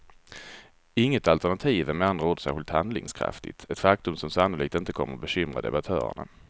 Inget alternativ är med andra ord särskilt handlingskraftigt, ett faktum som sannolikt inte kommer bekymra debattörerna.